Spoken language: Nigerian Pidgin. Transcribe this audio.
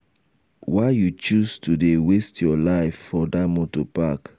why you choose to dey waste your life for dat moto park?